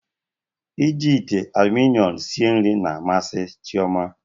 Iji ite aluminiọm sie nri na-amasị Chioma